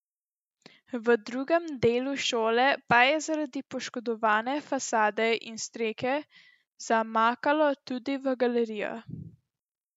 V drugem delu šole pa je zaradi poškodovane fasade in strehe zamakalo tudi v galerijo.